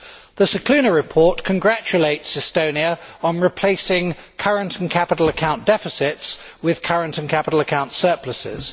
The Scicluna report congratulates Estonia on replacing current and capital account deficits with current and capital account surpluses.